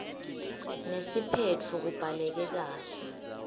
nesiphetfo kubhaleke kahle